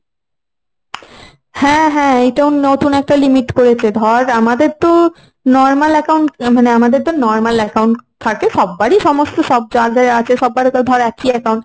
হ্যাঁ হ্যাঁ এইটাও নতুন একটা limit করেছে ধর আমাদের তো normal account মানে আমাদের তো normal account থাকে। সব্বারই সমস্ত সব যার যার আছে সব্বারই তো ধর একই account।